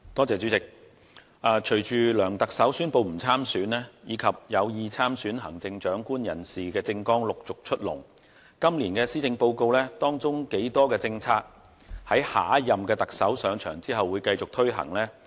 主席，隨着梁特首宣布不參選，以及有意參選行政長官人士政綱陸續出籠，我們不禁要問，今年的施政報告當中究竟有多少政策是會在下任特首上場後繼續推行呢？